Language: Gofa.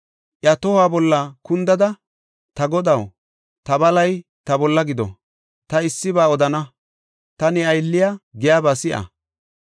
Iya tohuwa bolla kundada, “Ta godaw, ta balay ta bolla gido! Ta issiba odana; ta ne aylliya giyaba si7a.